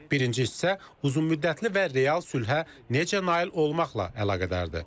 Birinci hissə uzunmüddətli və real sülhə necə nail olmaqla əlaqədardır.